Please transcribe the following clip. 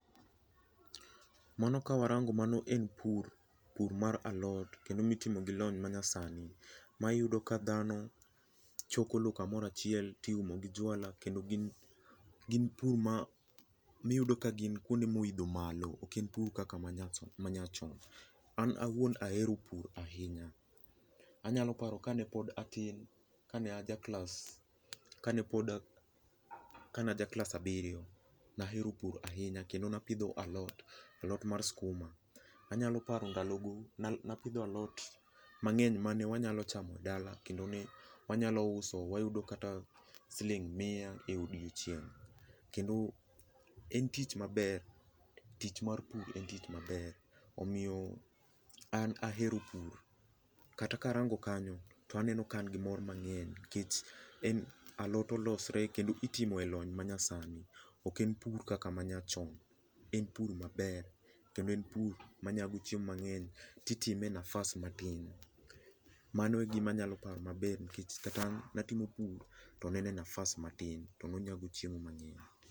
Mano kawarango mano en pur, pur mar alot kendo mitimo gi lony manyasani ma iyudo ka dhano choko lowo kamoro achiel to iumo gi jwala. Gin pur ma iyudo ka gin kuonde ma oidho malo, ok en purc kaka manyachon cha. An awuon ahero pur ahinya. Anyalo paro kane pod atin, kane ajaklas kane pod kane ajaklas abiriyo, ne ahero pur ahinya kendo ne apidho alot am sukuma. Anyalo paro ndalogo, ne apidho alotv mang'eny mane anyalo chamo dala kendo ne wanyalo uso wayudo kata siling' miya e odiechieng' kendo en tich maber, tich mar pur en tich maber. Omiyo an ahero pur. Kata karango kanyo an gi mor mang'eny, alot olosre kendo itimo elony manyasani, ok en pur kaka ma nyachon. En pur maber kendo en pur manyago chiemo mang'eny to itime e nafas matin. Mano e gima anyalo paro maber nikech kata an ne atimo pur to ne en e nafas matin to ne onyago chiemo mang‘eny.